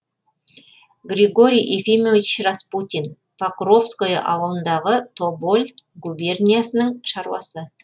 григорий ефимович распутин покровское ауылындағы тоболь губерниясының шаруасы